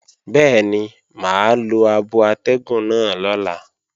Bẹ́ẹ̀ni mà á lo abo atẹ́gùn náà lọ́la